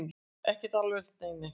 Ekkert alvarlegt, nei nei.